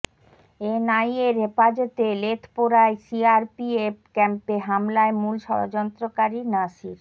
এনআইএর হেফাজতে লেথপোরা সিআরপিএফ ক্যাম্পে হামলায় মূল ষড়যন্ত্রকারী নাসির